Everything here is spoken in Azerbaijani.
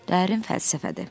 Dərin fəlsəfədir.